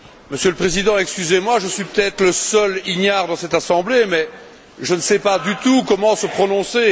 Monsieur le Président, excusez moi, je suis peut être le seul ignare dans cette assemblée, mais je ne sais pas du tout comment il faut se prononcer.